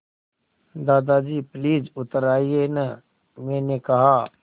दादाजी प्लीज़ उतर आइये न मैंने कहा